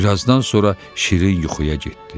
Birazdan sonra şirin yuxuya getdi.